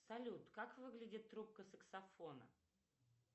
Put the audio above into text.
салют как выглядит трубка саксофона